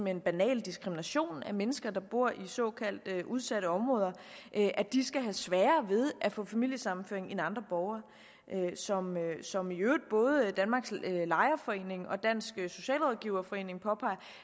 hen banal diskrimination af mennesker der bor i såkaldt udsatte områder at de skal have sværere ved at få familiesammenføring end andre borgere som som i øvrigt både danmarks lejerforeninger og dansk socialrådgiverforening påpeger